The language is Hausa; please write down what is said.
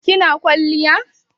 kina kwaliya?